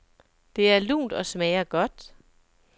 Det er lunt og smager godt.